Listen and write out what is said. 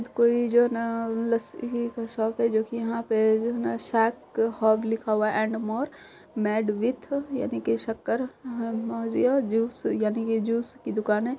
कोई जो ना लस्सी ही का शॉप है जो कि यहाँ पे शाक हब लिखा हुआ है एण्ड मोर मैड विथ यानी की शक्कर जूस यानी की जूस की दुकाने है।